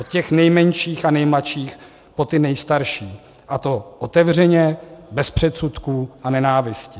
Od těch nejmenších a nejmladších po ty nejstarší, a to otevřeně, bez předsudků a nenávisti.